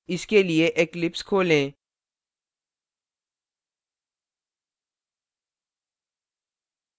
इसके लिए eclipse खोलें